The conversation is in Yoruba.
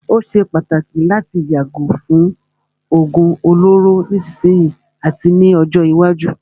Ó ṣé pàtàkì láti yàgò fún òógún olóró nísìsiyìí àti ní ọjọ́ iwájú.